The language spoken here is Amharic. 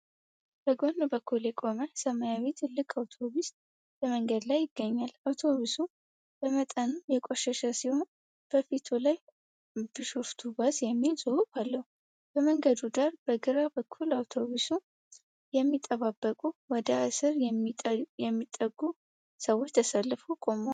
በጎን በኩል የቆመ ሰማያዊ ትልቅ አውቶብስ በመንገድ ላይ ይገኛል። አውቶቡሱ በመጠኑ የቆሸሸ ሲሆን፣ በፊቱ ላይ "ብሾፍቱ ባስ" የሚል ጽሑፍ አለው። በመንገዱ ዳር በግራ በኩል አውቶቡሱን የሚጠባበቁ ወደ አስር የሚጠጉ ሰዎች ተሰልፈው ቆመዋል።